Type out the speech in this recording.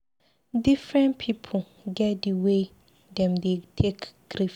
Differen pipu get di way wey dem dey take grief.